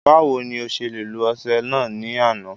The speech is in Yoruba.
Báwo ni o ṣe lo ọṣẹ náà ní àná